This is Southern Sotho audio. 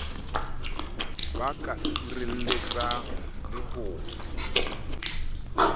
ba ka sireletsang le ho